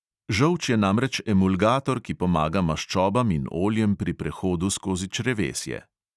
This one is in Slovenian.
Žolč je namreč emulgator, ki pomaga maščobam in oljem pri prehodu skozi črevesje.